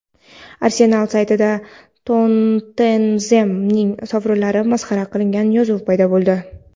"Arsenal" saytida "Tottenhem"ning sovrinlari masxara qilingan yozuv paydo bo‘ldi.